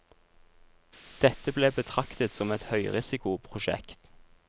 Dette ble betraktet som et høyrisikoprosjekt.